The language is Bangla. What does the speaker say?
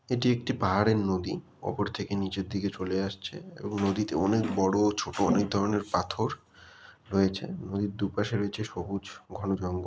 এটি একটি পাহাড়ের নদী ওপর থেকে নিচের দিকে চলে আসছে এবং নদীতে অনেক বড় ছোট ও অনেক ধরনের পাথর রয়েছে নদীর দুপাশে রয়েছে সবুজ ঘন জঙ্গল।